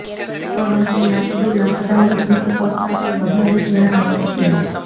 પરંતુ લાકડું લાકડાની ભીંત કરતાં તે વધારે ધ્યાન આપે છે